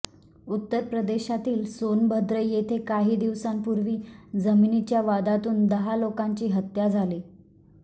उत्तर प्रदेशातील सोनभद्र येथे काही दिवसांपूर्वी जमिनीच्या वादातून दहा लोकांची हत्या झाली